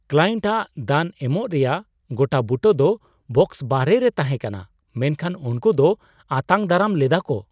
Client ᱟᱜ ᱫᱟᱱ ᱮᱢᱚᱜ ᱨᱮᱭᱟᱜ ᱜᱚᱴᱟᱵᱩᱴᱟᱹ ᱫᱚ ᱵᱟᱠᱥᱚ ᱵᱟᱦᱨᱮ ᱨᱮ ᱛᱟᱸᱦᱮ ᱠᱟᱱᱟ, ᱢᱮᱱᱠᱷᱟᱱ ᱩᱱᱠᱩ ᱫᱚ ᱟᱛᱟᱝ ᱫᱟᱨᱟᱢ ᱞᱮᱫᱟ ᱠᱚ ᱾